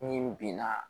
Ni binna